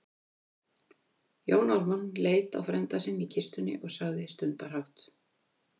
Jón Ármann leit á frænda sinn í kistunni og sagði stundarhátt